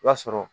I b'a sɔrɔ